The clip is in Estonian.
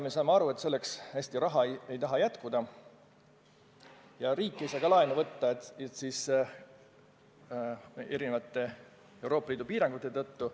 Me saame aru, et selleks hästi raha ei taha jätkuda ja riik ei saa ka laenu võtta erinevate Euroopa Liidu piirangute tõttu.